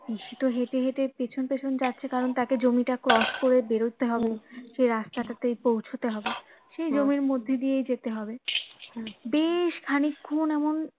পিসি তো হেটে হেটে পেছন পেছন যাচ্ছে কারণ তাকে জমি টা cross করে বেরোতে হবে সে রাস্তা টাতে পৌঁছতে হবে সেই জমির মধ্যে দিয়েই যেতে হবে বেশ খানিক্ষন এমন